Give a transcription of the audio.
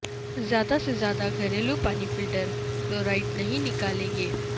زیادہ سے زیادہ گھریلو پانی فلٹر فلورائڈ نہیں نکالیں گے